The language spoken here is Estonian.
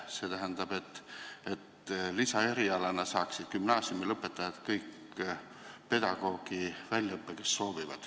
See tähendab, et lisaerialana saaksid kõik gümnaasiumilõpetajad, kes soovivad, pedagoogi väljaõppe.